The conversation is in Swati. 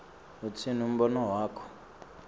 utsini umbono wakho